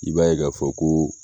I b'a ye k'a fɔ ko.